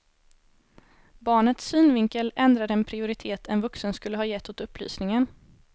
Barnets synvinkel ändrar den prioritet en vuxen skulle ha gett åt upplysningen.